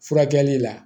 Furakɛli la